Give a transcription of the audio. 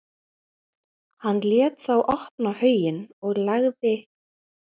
Hann lét þá opna hauginn og lagði